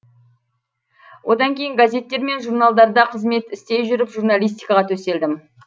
одан кейін газеттер мен журналдарда қызмет істей жүріп журналистикаға төселдім